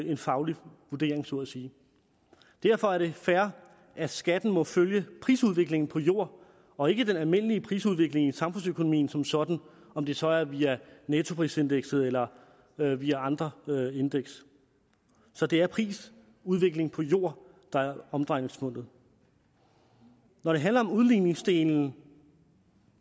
en faglig vurdering så at sige derfor er det fair at skatten må følge prisudviklingen på jord og ikke den almindelige prisudvikling i samfundsøkonomien som sådan om det så er via nettoprisindekset eller via andre indeks så det er prisudviklingen på jord der er omdrejningspunktet når det handler om udligningsdelen